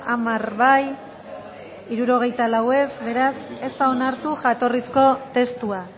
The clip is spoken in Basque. hamar boto aldekoa sesenta y cuatro contra beraz ez da onartu jatorrizko testua